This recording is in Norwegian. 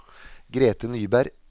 Grete Nyberg